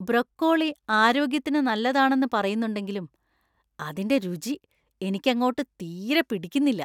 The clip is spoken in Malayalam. ബ്രൊക്കോളി ആരോഗ്യത്തിന് നല്ലതാണെന്ന് പറയുന്നുണ്ടെങ്കിലും അതിന്‍റെ രുചി എനിക്ക് അങ്ങോട്ട് തീരെ പിടിക്കുന്നില്ല.